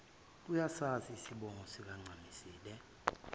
uyasazi isibongo sikancamisile